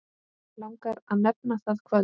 Langar að nefna það kvöld.